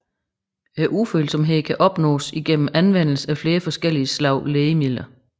Ufølsomheden kan opnås igennem anvendelse af flere forskellige slags lægemidler